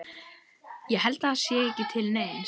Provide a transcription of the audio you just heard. Ég held að það sé ekki til neins.